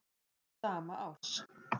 sama árs.